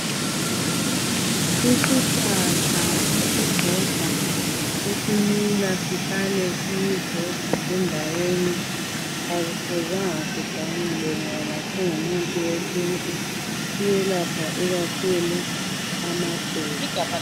Isihlahla esisodwa. qEsimila sihlale sisodwa. Singumuthi wesintu. Akumelanga siganyulwe. Siyelapha ikakhulu amaqolo.,